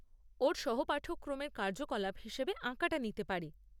ওর সহপাঠক্রমের কার্যকলাপ হিসেবে আঁকাটা নিতে পারে।